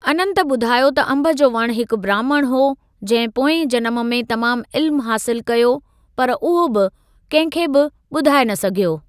अनंत ॿुधायो त अंब जो वणु हिकु ब्राह्मण हो, जहिं पोएं जनम में तमाम इल्‍मु हासिल कयो, पर उहो बि कहिं खे बि ॿुधाए न सघियो।